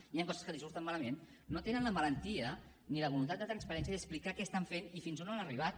hi han coses que els surten malament no tenen la valentia ni la voluntat de transparència d’explicar què estan fent i fins on han arribat